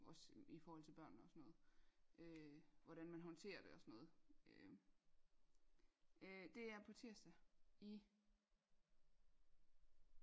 Også i forhold til børnene og sådan noget øh hvordan man håndterer det og sådan noget øhm øh det er på tirsdag i